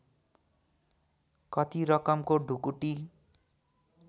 कति रकमको ढुकुटी